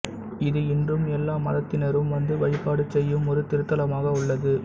இது இன்றும் எல்லா மதத்தினரும் வந்து வழிபாடு செய்யும் ஒரு திருத்தலமாக உள்ளது